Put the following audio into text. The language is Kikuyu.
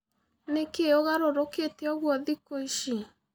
Nĩkĩ ũgarũrũkĩte ũgũo thĩkũ ĩcĩ?